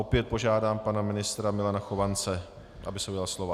Opět požádám pana ministra Milana Chovance, aby se ujal slova.